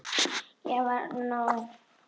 Ég var nóg.